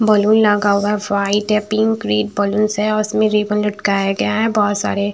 balloon लगा हुआ है व्हाइट है पिकं ग्रीन बलूनस है और उसमें रिबन लटकाया गया है बहुत सारे--